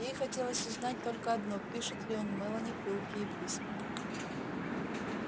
ей хотелось узнать только одно пишет ли он мелани пылкие письма